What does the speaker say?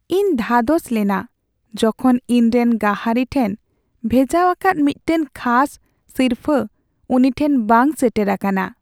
ᱤᱧ ᱫᱷᱟᱫᱚᱥ ᱞᱮᱱᱟ ᱡᱚᱠᱷᱚᱱ ᱤᱧᱨᱮᱱ ᱜᱟᱹᱦᱟᱨᱤ ᱴᱷᱮᱱ ᱵᱷᱮᱡᱟᱣᱟᱠᱟᱫ ᱢᱤᱫᱴᱟᱝ ᱠᱷᱟᱥ ᱥᱤᱨᱯᱷᱟᱹ ᱩᱱᱤ ᱴᱷᱮᱱ ᱵᱟᱝ ᱥᱮᱴᱮᱨ ᱟᱠᱟᱱᱟ ᱾